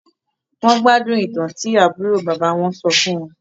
Wọn gbádùn-ún ìtàn tí àbúrò bàbá wọn sọ fún wọn